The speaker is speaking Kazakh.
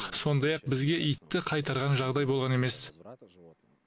сондай ақ бізге итті қайтарған жағдай болған емес